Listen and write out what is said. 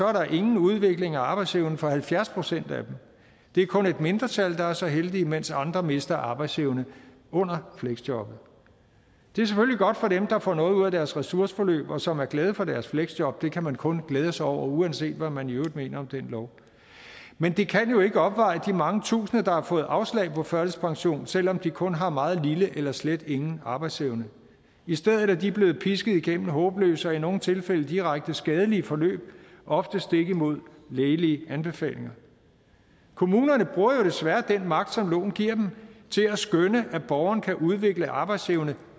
er der ingen udvikling af arbejdsevnen for halvfjerds procent af dem det er kun et mindretal der er så heldige mens andre mister arbejdsevne under fleksjobbet det er selvfølgelig godt for dem der får noget ud af deres ressourceforløb og som er glade for deres fleksjob det kan man kun glæde sig over uanset hvad man i øvrigt mener om den lov men det kan jo ikke opveje de mange tusinde der har fået afslag på førtidspension selv om de kun har meget lille eller slet ingen arbejdsevne i stedet er de blevet pisket igennem håbløse og i nogle tilfælde direkte skadelige forløb ofte stik imod lægelige anbefalinger kommunerne bruger jo desværre den magt som loven giver dem til at skønne at borgerne kan udvikle arbejdsevne